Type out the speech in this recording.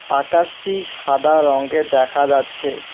আকাশটি সাদা রঙ্গের দেখা যাচ্ছে।